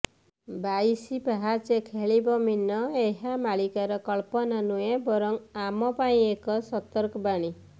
ବାଇଶି ପାହାଚେ ଖେଳିବ ମୀନ ଏହା ମାଳିକାର କଳ୍ପନା ନୁହେଁ ବରଂ ଆମ ପାଇଁ ଏକ ସତର୍କ ବାଣୀ